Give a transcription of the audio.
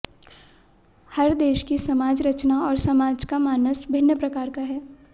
हर देश की समाज रचना और समाज का मानस भिन्न प्रकार का है